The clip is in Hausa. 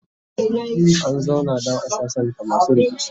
an zauna dan a sassanta masu rikici